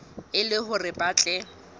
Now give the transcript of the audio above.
e le hore ba tle